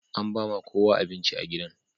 An ba ma kowa abinci a gidan.